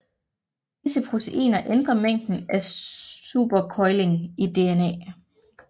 Disse proteiner ændrer mængden af supercoiling i DNA